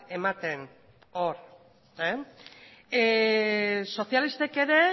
ematen hor sozialistek ere